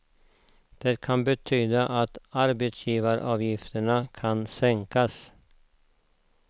Det kan betyda att arbetsgivaravgifterna ska sänkas.